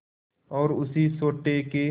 और उसी सोटे के